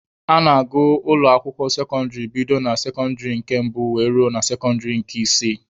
A na-agụ ụlọ akwụkwọ sekọndịrị bido na sekọndịrị nke mbụ were ruo na sekọndịrị nke isii